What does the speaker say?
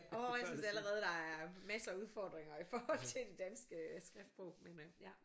Åh jeg synes allerede der er masser af udfordringer i forhold til det danske skriftsprog men øh ja